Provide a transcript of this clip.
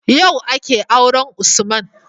Yau akeyin auren usman